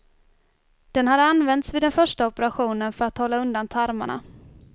Den hade använts vid den första operationen för att hålla undan tarmarna.